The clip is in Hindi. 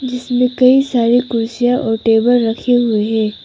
जिसमें कई सारी कुर्सियां और टेबल रखे हुए हैं।